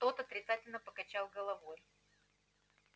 тот отрицательно покачал головой